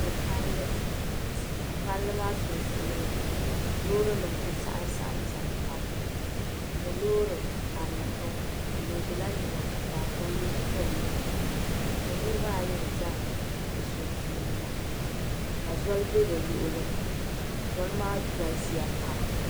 N nyɛ pallI ka palli maa sunsuuni loori nim ku saɣam ƶɛnʒɛ nimaani n nyɛ loori karili n bɔŋɔ o loodila niɛma ka taapooli pilli ni niraba ayi n ʒɛ di sunsuuni la ka zoli bɛ bi luɣuli ni zoli maa galisiya pam